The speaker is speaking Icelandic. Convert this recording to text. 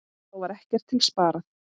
Þá var ekkert til sparað.